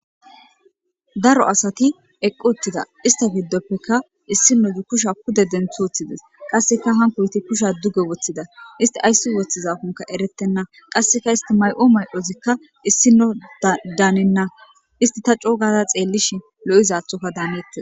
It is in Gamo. daro asati eqqu uttida ista giddoppekka issinozu kusha kude denthoththides qasseka hankoyti kusha duge woththida isti ayssi woththizakonka eretenna qasseka isti may7o may7ozikka issino daanenna isti ta coogada xeellishi lo7izathoka daanettes